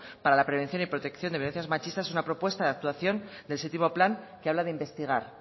para la prevención y protección de violencias machistas es una propuesta de actuación del séptimo plan que habla de investigar